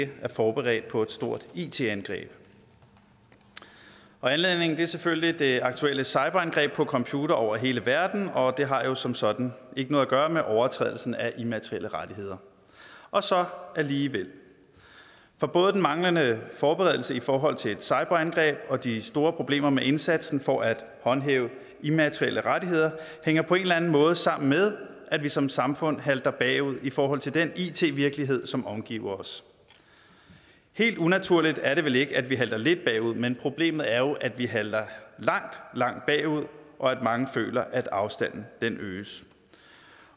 ikke er forberedt på et stort it angreb anledningen er selvfølgelig det aktuelle cyberangreb på computere over hele verden og det har jo som sådan ikke noget at gøre med overtrædelsen af immaterielle rettigheder og så alligevel for både den manglende forberedelse i forhold til et cyberangreb og de store problemer med indsatsen for at håndhæve immaterielle rettigheder hænger på en eller anden måde sammen med at vi som samfund halter bagud i forhold til den it virkelighed som omgiver os helt unaturligt er det vel ikke at vi halter lidt bagud men problemet er jo at vi halter langt langt bagud og at mange føler at afstanden øges